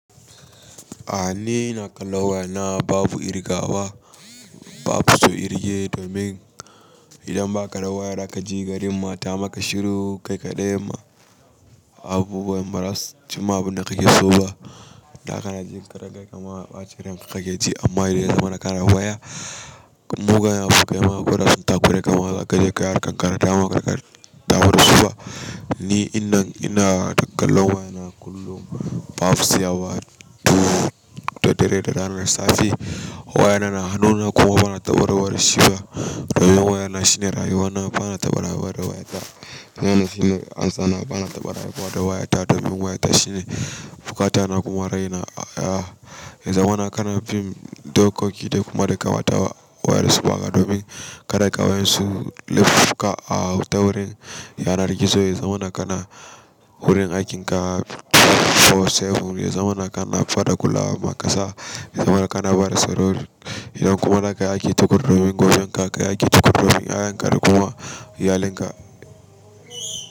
Ah ni ina kallon wayana babu ƙirgawa, babu so kirge domin idan baka da waya zaka ji garin ma ta maka shiru kai kaɗai ma babu waya maras cimma abinda kake so ba. Da kana jin ka da garin inbma ɓacin ranka kake ji amma yanzu mana kana waya. Mugayen fuka yama guda sun takure kamar za ka je kaya kankan karata maka takarɗa ta barin su ba. Ni ina ina kallon wayana kullum babu saya wa duhu da dare da rana da safe. Waya na na hannu na ko wane abu ta warwaran sunna domin waya na shi ne rayuwa na, ba na taba rabuwa ta, wannan shi be amsa na ba na taba rabu da rabu da waya na domin shi ne fata na da kuma rai na. A ya zamana kana fim dokoki da kuma daƙawa tawa wayar suɓa ga domin ka daƙa wayan su leɓɓuka a wurin yanar gizo. Yanzu wannan kana wurin aikin ka 24/7. Yanzu wannan kana fada kula maka sa. Yanzu mana kana Barcelona idan kuma naka yake tukuru domin gobe naka yake tukuru. Yayan ka kuma iyalinka.